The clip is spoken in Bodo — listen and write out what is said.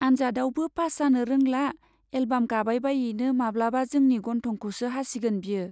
आन्जादआवबो पास जानो रौंला, एलबाम गाबायबायैनो माब्लाबा जोंनि गन्थंखौसो हासिगोन बियो।